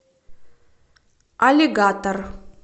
аллигатор